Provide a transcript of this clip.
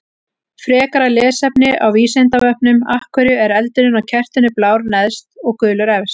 Frekara lesefni á Vísindavefnum: Af hverju er eldurinn á kertinu blár neðst og gulur efst?